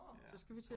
Så skal vi til